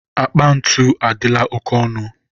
akpa ntu adịla oke ọnụ.